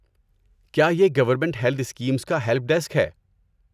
کیا یہ government health schemes کا ہیلپ ڈیسک ہے؟